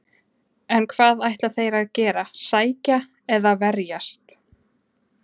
En hvað ætla þeir að gera, sækja eða verjast?